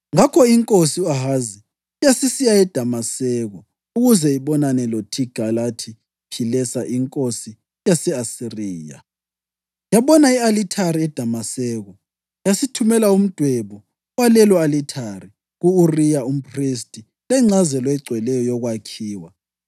Ngakho inkosi u-Ahazi yasisiya eDamaseko ukuze ibonane loThigilathi-Philesa inkosi yase-Asiriya. Yabona i-alithari eDamaseko yasithumela umdwebo walelo alithare ku-Uriya umphristi lengcazelo egcweleyo yokwakhiwa.